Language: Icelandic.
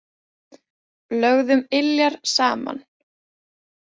Lögðum iljar saman.